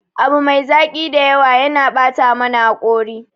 Abu mai zaki da yawa yana bata mana hakori.